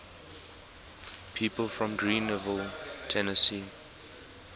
people from greeneville tennessee